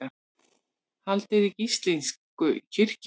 Haldið í gíslingu í kirkju